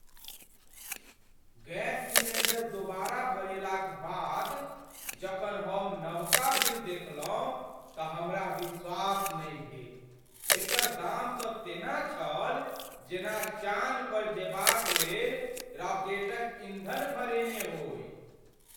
Gas cylinder दोबारा भरेलाक बाद जखन हम नवका बिल देखलहुँ त हमरा विश्वास नहि भेल । एकर दाम तँ तेना छल जेना चान पर जेबाक लेल राकेटक ईँधन भरेने होइ।